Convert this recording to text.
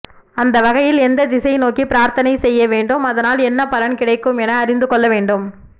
அந்தவகையில் எந்த திசை நோக்கி பிரார்த்தனை செய்ய வேண்டும் அதனால் என்னபலன் கிடைக்கும் என அறிந்து கொள்ளவேண்டும்